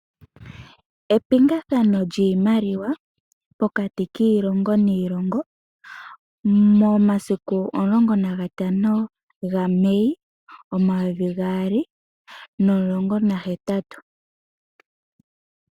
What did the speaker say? Epingathano lyiimaliwa pokati kiilongo niilongo, momasiku omulongo nagatano gaMei omayovi gaali nomulongo nahetatu.